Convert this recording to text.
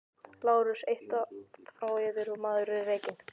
LÁRUS: Eitt orð frá yður og maðurinn er rekinn!